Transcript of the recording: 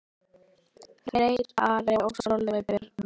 Freyr, Ari og Sólveig Birna.